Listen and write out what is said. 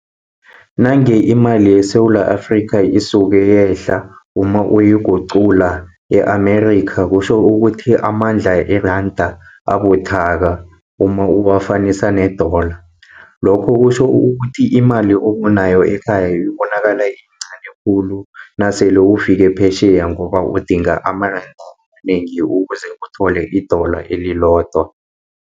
Nange imali yeSewula Afrikha, isuke yehla uma uyigucula, ye-Amerika kutjho ukuthi amandla eranda abuthaka uma uwafanisa ne-dollar. Lokho kutjho ukuthi imali onayo ekhaya ibonakala iyincani khulu, nasele ufike phesheya ngoba udinga amaranda amanengi, ukuze uthole i-dollar elilodwa.